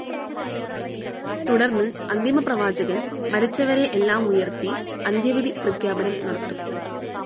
തുടർന്ന് അന്തിമ പ്രവാചകൻ മരിച്ചവരെ എല്ലാം ഉയർത്തി അന്ത്യവിധി പ്രഖ്യാപനം നടത്തും.